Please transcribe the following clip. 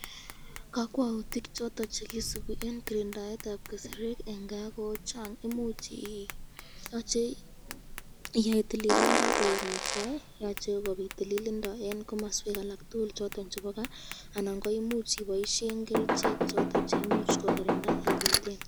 Kakwautik choton chekisubi eng kirindaetab keserek ko Chang ,yoche iyai tililindo koek netai yoche kobit tililindo eng komaswek tukul chebo kaa anan iboishen kerichek ipiten ikirindaen.